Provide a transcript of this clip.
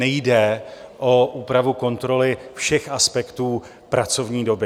Nejde o úpravu kontroly všech aspektů pracovní doby.